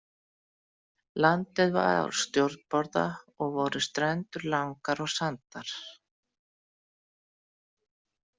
Landið var á stjórnborða og voru strendur langar og sandar.